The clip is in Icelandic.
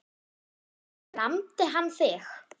En lamdi hann þig?